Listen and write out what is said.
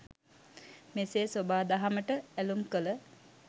මෙසේ සොබා දහමට ඇලුම් කළ